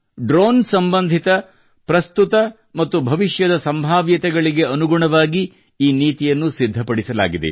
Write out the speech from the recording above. drone ಸಂಬಂಧಿತ ಪ್ರಸ್ತುತ ಮತ್ತು ಭವಿಷ್ಯದ ಸಂಭವನೀಯತೆಗಳಿಗೆ ಅನುಗುಣವಾಗಿ ಈ ನೀತಿಯನ್ನು ಸಿದ್ಧಪಡಿಸಲಾಗಿದೆ